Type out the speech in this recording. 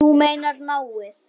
Þú meinar náið?